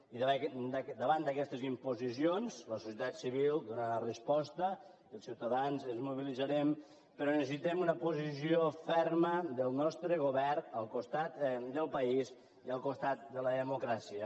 i davant d’aquestes imposicions la societat civil hi donarà resposta els ciutadans ens mobilitzarem però necessitem una posició ferma del nostre govern al costat del país i al costat de la democràcia